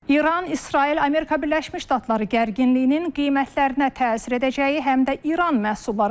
İran, İsrail, Amerika Birləşmiş Ştatları gərginliyinin qiymətlərinə təsir edəcəyi, həm də İran məhsullarıdır.